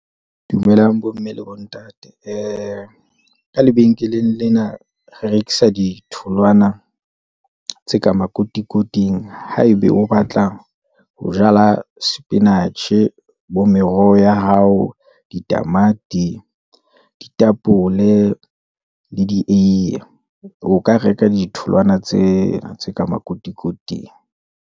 Dumelang bomme le bontate, ka lebenkeleng lena re rekisa di tholwana tse ka makotikoting. Haebe o batlang ho jala spinach-e, bo meroho ya hao, ditamati, ditapole, le dieye. O ka reka ditholwana tsena tse ka makotikoting.